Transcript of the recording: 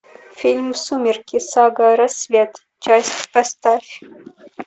фильм сумерки сага рассвет часть поставь